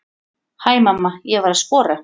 Hæ mamma, ég var að skora!